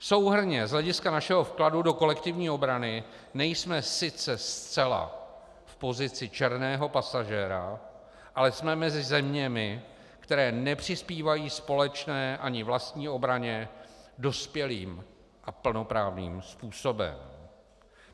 Souhrnně z hlediska našeho vkladu do kolektivní obrany nejsme sice zcela v pozici černého pasažéra, ale jsme mezi zeměmi, které nepřispívají společné ani vlastní obraně dospělým a plnoprávným způsobem.